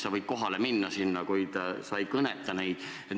Sa võid kohale minna, kuid sa ei kõneta neid.